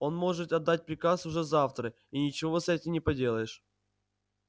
он может отдать приказ уже завтра и ничего с этим не поделаешь